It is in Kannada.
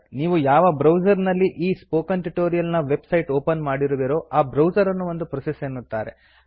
ನೀವು ಯಾವ ಬ್ರೌಸರ್ ನಲ್ಲಿ ಈ ಸ್ಪೋಕನ್ ಟ್ಯುಟೋರಿಯಲ್ ನ ವೆಬ್ ಸೈಟ್ ಓಪನ್ ಮಾಡಿರುವಿರೋ ಆ ಬ್ರೌಸರ್ ಅನ್ನು ಒಂದು ಪ್ರೋಸೆಸ್ ಎನ್ನುತ್ತಾರೆ